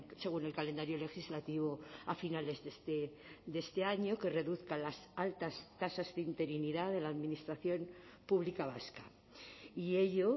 según el calendario legislativo a finales de este año que reduzca las altas tasas de interinidad de la administración pública vasca y ello